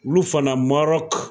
Olu fana Marɔk.